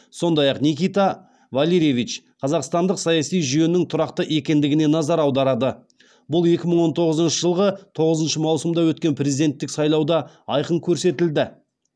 сондай ақ никита валерьевич қазақстандық саяси жүйенің тұрақты екендігіне назар аударады бұл екі мың он тоғызыншы жылғы тоғызыншы маусымда өткен президенттік сайлауда айқын көрсетілді